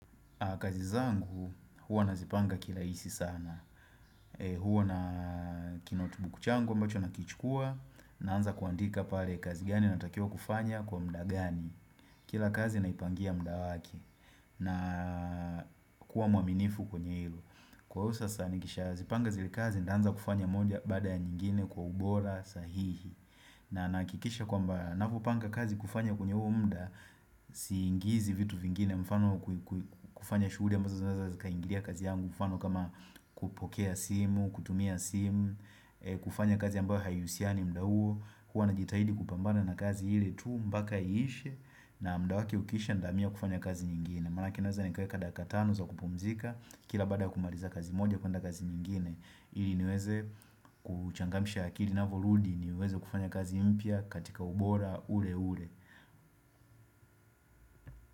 Kazi zangu, huwa nazipanga kirahisi sana. Huwa na kinotibuku changu, ambacho nakichukua, naanza kuandika pale kazi gani natakiwa kufanya kwa muda gani. Kila kazi naipangia muda wake. Na kuwa mwaminifu kwenye ilo. Kwa sasa nikishazipanga zile kazi, ninaanza kufanya moja baada ya nyingine kwa ubora sahihi. Na nahakikisha kwamba, ninapopanga kazi kufanya kwenye huo muda, siingizi vitu vingine mfano kufanya shughuli ambazo zinaweza zikaingilia kazi yangu mfano kama kupokea simu kutumia simu kufanya kazi ambayo haihusiani muda huo huwa najitahidi kupambana na kazi ili tu mpaka iishe na muda wake ukiisha nitahamia kufanya kazi nyingine maanake naweza nikaweka dakika tano za kupumzika kila baada ya kumaliza kazi moja kwenda kazi nyingine ili niweze kuchangamsha akili inaporudi niweze kufanya kazi mpya katika ubora ule ule.